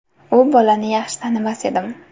U bolani yaxshi tanimas edim.